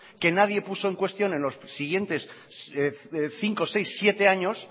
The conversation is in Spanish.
que nadie puso en cuestión en los siguientes cinco seis siete años